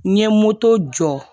N ye moto jɔ